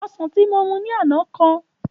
Osàn tí mo mu ní àná kan